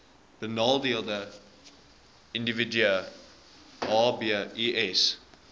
benadeelde individue hbis